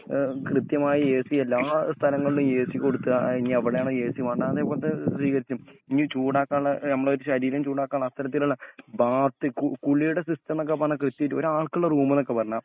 കൃത്യമായ എസി എല്ലാ സ്ഥലങ്ങളിലും എസി കൊടുക്കുക ഇഞി എവിടെയാണോ എസി വേണ്ടാത്തെ അതേപോലത്തെ ഇഞ്ഞി ചൂടാക്കാനുള്ള ആ ഞമ്മളെ ശരീരം ചുടാക്കാനുള്ള അത്തരത്തിലുള്ള ബാത്ത് കു കുളീടെ സിസ്റ്റംന്നൊക്കെ പറഞ്ഞാ കൃത്യായിട്ട് ഒരാൾക്കുള്ള റൂമൊന്നൊക്കെ പറഞ്ഞാൽ